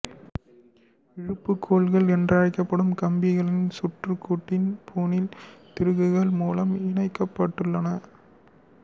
இழுப்பு கோல்கள் என்றழைக்கப்படும் கம்பிகள் சுற்றுக்கூட்டின் பூணில் திருகுகள் மூலம் இணைக்கப்பட்டுள்ளன